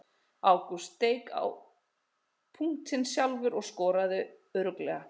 Ágúst steik á punktinn sjálfur og skoraði örugglega.